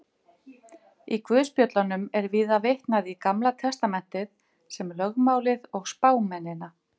Það sem gerðist í fortíðinni stjórnar hegðun minni og tilfinningum í framtíðinni.